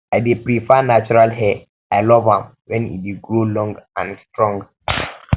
i dey prefer natural hair i love am when e dey grow long and strong